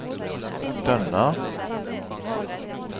Dønna